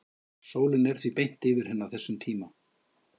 sólin er því beint yfir henni á þessum tíma